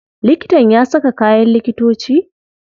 Likitan ya saka kayan likitoci?